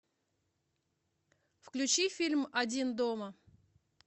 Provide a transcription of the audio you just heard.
включи фильм один дома